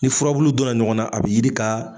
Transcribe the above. Ni furabulu donna ɲɔgɔn na a bi yiri ka.